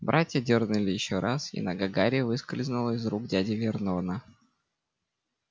братья дёрнули ещё раз и нога гарри выскользнула из рук дяди вернона